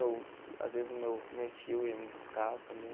Às vezes, o meu meu tio ia me buscar também.